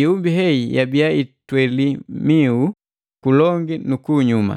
Ihumbi hei yabii itweli miu kulongi nu kunyuma.